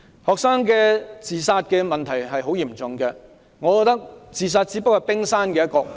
學生的自殺問題很嚴重，我覺得自殺只是問題的冰山一角。